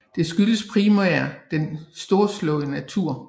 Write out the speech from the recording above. Det skyldes primært den storslåede natur